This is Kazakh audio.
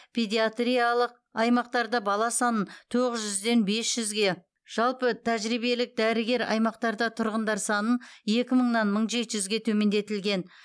педиатриялық аймақтарда бала санын тоғыз жүзден бес жүзге жалпы тәжірибелік дәрігер аймақтарда тұрғындар санын екі мыңнан мың жеті жүзге төмендетілген